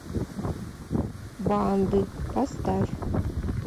банды поставь